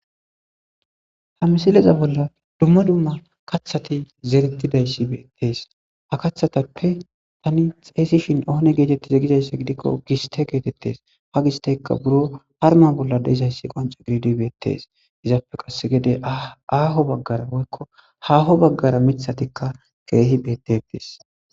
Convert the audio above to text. ha misileza bolla dumma dumma kaththati zerettidayssi beettees ha kaththatappe tani xeysishin oone geetettizegizayssa gidikko giste geetettes ha gistekka buro harma bolla deizayssi qonco gididibeettees izappe qasse gede aaho baggara boykko haaho baggara mithatikka keehi betetis